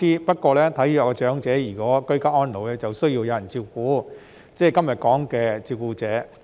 不過，如果體弱的長者居家安老就需要有人照顧，即是今天討論的照顧者。